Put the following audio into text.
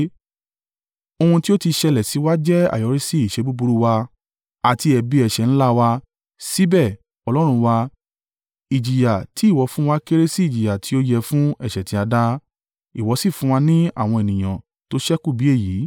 “Ohun tí ó ti ṣẹlẹ̀ sí wa jẹ́ àyọríṣí iṣẹ́ búburú wa àti ẹ̀bi ẹ̀ṣẹ̀ ńlá wa, síbẹ̀, Ọlọ́run wa, ìjìyà ti ìwọ fún wa kéré si ìjìyà tí ó yẹ fún ẹ̀ṣẹ̀ ti a dá, ìwọ sì fún wa ní àwọn ènìyàn tó ṣẹ́kù bí èyí.